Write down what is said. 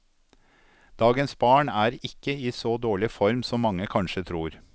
Dagens barn er ikke i så dårlig form som mange kanskje tror.